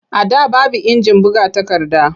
A da baby injin buga takarda.